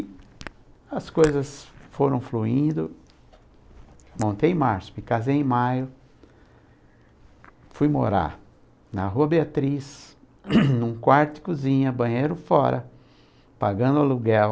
E as coisas foram fluindo, montei em março, me casei em maio, fui morar na Rua Beatriz, num quarto de cozinha, banheiro fora, pagando aluguel,